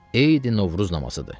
Eydi Novruz namazıdır.